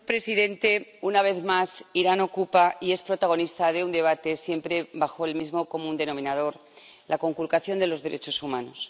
Señor presidente, una vez más, Irán ocupa y es protagonista de un debate siempre bajo el mismo común denominador la conculcación de los derechos humanos.